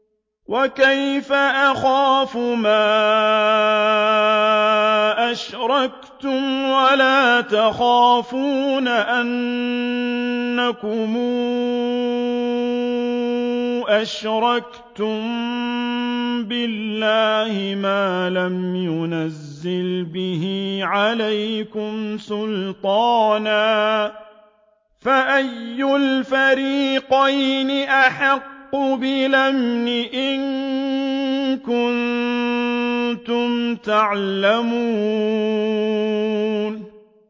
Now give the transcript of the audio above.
وَكَيْفَ أَخَافُ مَا أَشْرَكْتُمْ وَلَا تَخَافُونَ أَنَّكُمْ أَشْرَكْتُم بِاللَّهِ مَا لَمْ يُنَزِّلْ بِهِ عَلَيْكُمْ سُلْطَانًا ۚ فَأَيُّ الْفَرِيقَيْنِ أَحَقُّ بِالْأَمْنِ ۖ إِن كُنتُمْ تَعْلَمُونَ